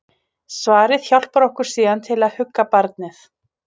Svarið hjálpar okkur síðan til að hugga barnið.